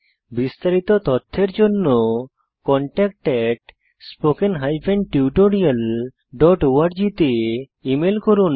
বিস্তারিত তথ্যের জন্য contactspoken tutorialorg তে ইমেল করুন